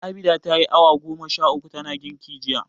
Abinda ta yi awa goma sha uku tana girki jiya.